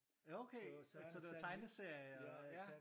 Okay! Så så det var tegneserier og ja